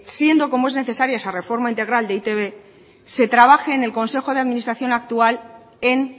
siendo como es necesaria esa reforma integral de e i te be se trabaje en el consejo de administración actual en